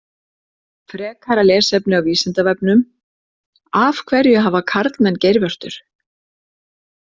Frekara lesefni á Vísindavefnum: Af hverju hafa karlmenn geirvörtur?